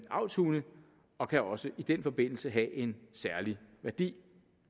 avlshunde og kan også i den forbindelse have en særlig værdi